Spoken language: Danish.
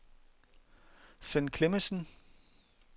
Sven Klemmensen